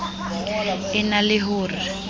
e na le ho re